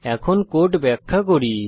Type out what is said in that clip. এখন কোড ব্যাখ্যা করি